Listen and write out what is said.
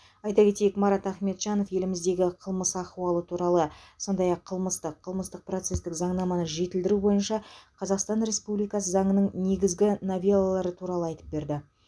айта кетейік марат ахметжанов еліміздегі қылмыс ахуалы туралы сондай ақ қылмыстық қылмыстық процестік заңнаманы жетілдіру бойынша қазақстан республикасы заңының негізгі новеллалары туралы айтып берді